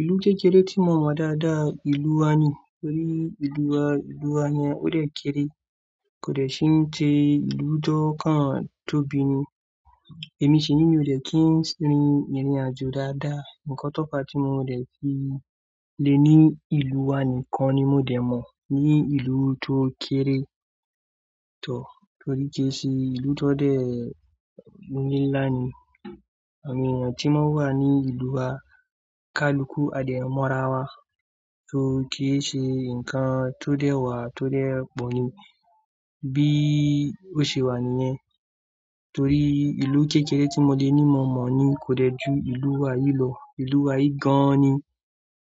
Ìlú kékeré tí mo mọ dáadáa ìlú wa ni. Torí ìlú wa, ìlú wa yẹn ó dẹ̀ kére, kò dẹ̀ ṣín jẹ ìlú tó kàn tóbi ni. Èmi ṣìní mi ò dẹ̀ kí n rí ìrìnàjò dáadáa. Ǹkan tópa tí mo dẹ̀ fi le ní ìlú wa nìkan ni mo dẹ̀ mọ̀. Ni ìlú tó kéré tó, torí kí í ṣẹ ìlú tó dẹ̀ ńlá ni. Awon eyan tí mó wà ní ìlú wa ká luku a de mọ́ra wa. Torí kí í ṣe ǹkan tó dẹ wà tó dẹ pọ̀ ni. Bí ó ṣe wà nìyẹn. Torí ìlú kékeré tí mo dẹ̀ ní mo mọ̀ ni kò dẹ̀ ju ìlú wa yìí lọ. Ìlú wa yìí gan-an ni.